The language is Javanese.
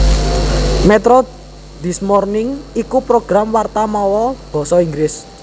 Metro This Morning iku program warta mawa basa Inggris